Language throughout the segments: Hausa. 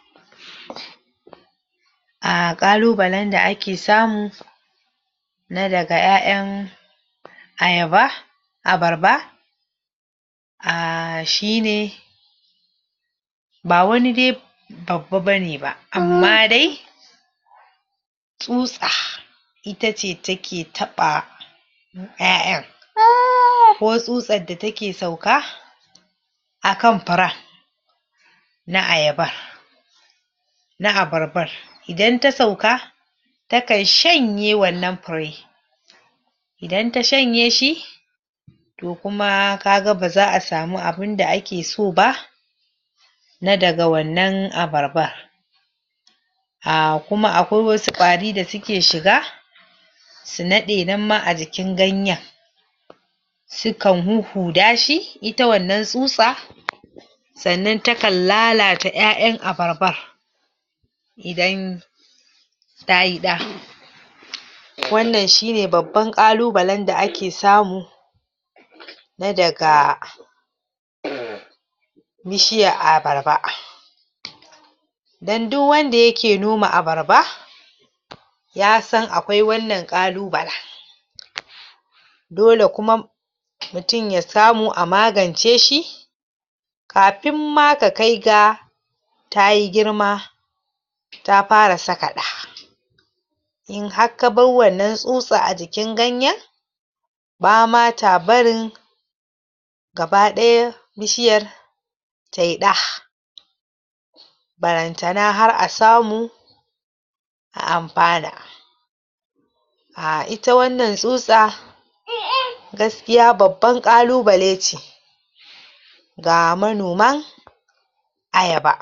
? um ƙalubalen da ake samu na daga ƴaƴan ayaba abarba um shine ba wani de babba bane ba amma dai tsutsa itace take taɓa ƴaƴan? ko tsutsar da take sauka akan piren na ayaban na abarbar idan ta sauka ta kan shanye wannan pire idan ta shanye shi to kuma kaga baza'a samu abinda ake so ba na daga wannan abarbar um kuma akwai wasu ƙwari da suke shiga su naɗe nan ma a jikin ganyen su kan huhhuda shi ita wannan tsutsa sannan ta kan lalata ƴaƴayn abarbar idan tayi ɗa? wannan shine babban ƙalubalen da ake samu na daga? bishiyar abarba? don duk wanda yake noma abarba? yasan akwai wannan ƙalubala? dole kuma mutun ya samu a magance shi kapin ma ka kai ga tayi girma ta para saka ɗa in har ka bar wannan tsutsa a jikin ganyen bama ta barin gaba ɗaya bishiyar tai ɗa barantana har a samu a ampana um ita wannan tsutsa? gaskiya babban ƙalubale ce ga manoma ayaba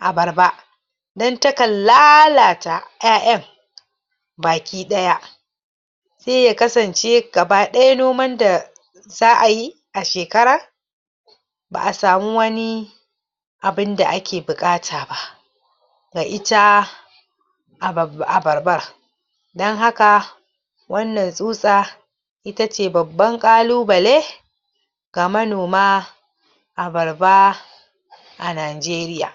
abarba don ta kan lalata ƴaƴan baki ɗaya sai ya kasance gaba ɗaya noman da za'ayi a shekara ba'a samu wani abinda ake buƙata ba ga ita abab abarbar don haka wannan tsutsa itace babban ƙalubale ga manoma abarba a Nanjeriya?